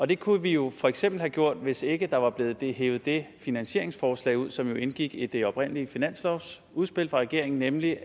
det kunne vi jo for eksempel have gjort hvis ikke der var blevet hevet det finansieringsforslag ud som jo indgik i det oprindelige finanslovsudspil fra regeringen nemlig